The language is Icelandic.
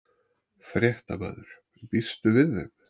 Fréttamaður: Býstu við þeim?